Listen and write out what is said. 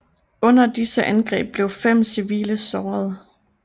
Under disse angreb blev fem civile såret